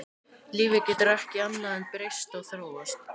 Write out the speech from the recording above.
Lífið getur ekki annað en breyst og þróast.